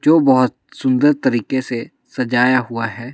जो बहुत सुंदर तरीके से सजाया हुआ है।